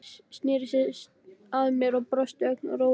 Sneri sér að mér og brosti, ögn rólegri.